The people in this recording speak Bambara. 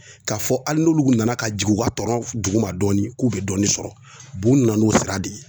K'a fɔ hali n'olu nana ka jigin u ka tɔn duguma dɔɔnin k'u bɛ dɔɔnin sɔrɔ u b'u nana n'u sira de ye